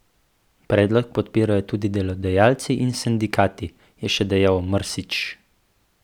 Predlog podpirajo tudi delodajalci in sindikati, je še dejal Mrsić.